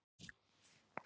Sem Man.